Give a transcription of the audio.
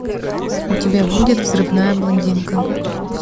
у тебя будет взрывная блондинка